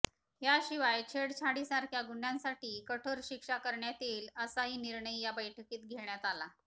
याशिवाय छेडछाडीसारख्या गुन्ह्यांसाठी कठोर शिक्षा करण्यात येईल असाही निर्णय या बैठकीत घेण्यात आला